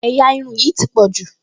Ẹ̀yà irun yìí ti wọ́pọ̀ jù